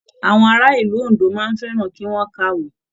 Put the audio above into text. Àwọn ará ìlú Òndó máa n fẹràn ki wọn kàwé.